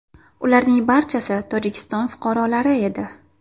Ularning barchasi Tojikiston fuqarolari edi.